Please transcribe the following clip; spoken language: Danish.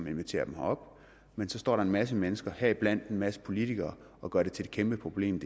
inviteret dem herop men så står der en masse mennesker heriblandt en masse politikere og gør det til et kæmpeproblem